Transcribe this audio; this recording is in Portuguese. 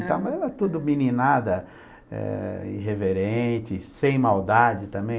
Mas era tudo meninada, eh, irreverente, sem maldade também.